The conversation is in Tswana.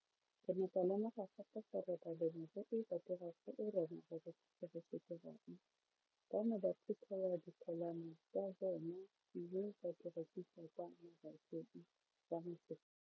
Ke ne ka lemoga gape gore balemirui ba dira seo rona barekisi re se dirang ba ne ba phuthela ditholwana tsa bona mme ba di rekisa kwa marakeng wa Motsekapa.